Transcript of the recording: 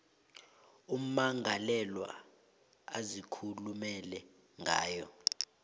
ummangalelwa azikhulumela ngayo